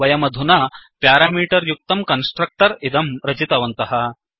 वयमधुना प्यारामीटर् युक्तं कन्स्ट्रक्टर् इदं रचितवन्तः